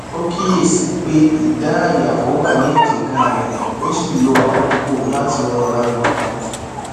ó kíyèsíi pé ìdàáyàfò wà ní èjìká rẹ ó sì lo àkókò láti rọra nà wón